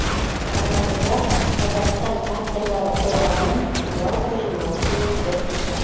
алматыда қазақстан авторлары қоғамынының жалпы жиналысы өтті